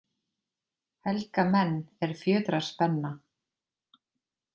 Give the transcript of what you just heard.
Helga menn, er fjötrar spenna,